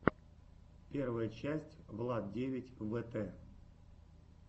первая часть влад девять вэтэ